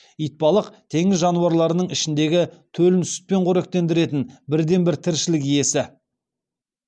итбалық теңіз жануарларының ішіндегі төлін сүтпен қоректендіретін бірден бір тіршілік иесі